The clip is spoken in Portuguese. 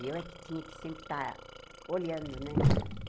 E eu é que tinha que sempre estar olhando, né?